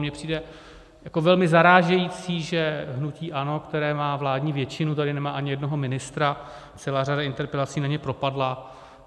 Mně přijde jako velmi zarážející, že hnutí ANO, které má vládní většinu, tady nemá ani jednoho ministra, celá řada interpelací na ně propadla.